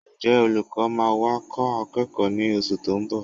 Ǹjẹ́ olùkọ́ máa wá kọ́ àwọn akẹ́kọ̀ọ́ ní oṣù tó ń bọ̀?